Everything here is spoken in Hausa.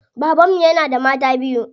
Baban mu yana da mata biyu.